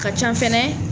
Ka ca fɛnɛ